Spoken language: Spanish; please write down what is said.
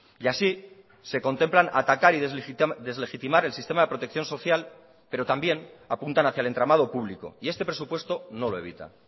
y así se contemplan atacar y deslegitimar el sistema de protección social pero también apuntan hacia el entramado público y este presupuesto no lo evita